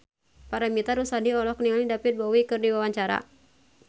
Paramitha Rusady olohok ningali David Bowie keur diwawancara